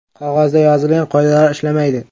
Qog‘ozda yozilgan qoidalar ishlamaydi”.